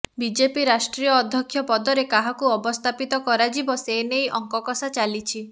BJP ରାଷ୍ଟ୍ରୀୟ ଅଧ୍ୟକ୍ଷ ପଦରେ କାହାକୁ ଅବସ୍ଥାପିତ କରାଯିବ ସେ ନେଇ ଅଙ୍କକଷା ଚାଲିଛି